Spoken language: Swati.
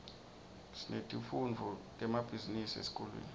sinetifundvo temabhizinisi esikolweni